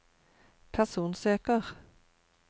personsøker